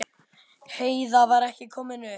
Heiða var ekki komin upp.